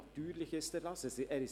Natürlich ist er das.